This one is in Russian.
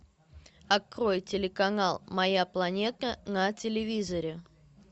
открой телеканал моя планета на телевизоре